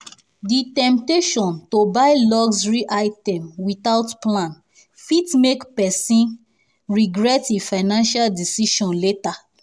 the temptation to buy luxury items without plan fit make person fit make person regret e financial decisions later.